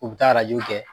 U bɛ taa arajow kɛ